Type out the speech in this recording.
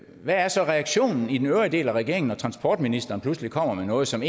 hvad er så reaktionen i den øvrige del af regeringen når transportministeren pludselig kommer med noget som